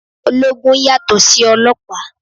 Ológun yàtò sí ọlọ́pàá.